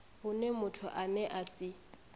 hune muthu ane a si